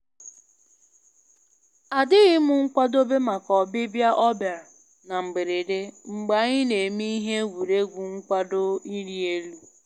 A dịghịm nkwadobe maka ọbịbịa ọ bịara na mgberede mgbe anyị na-eme ihe egwuregwu nkwado ịrị elu